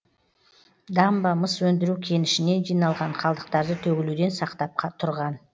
дамба мыс өндіру кенішінен жиналған қалдықтарды төгілуден сақтап тұрған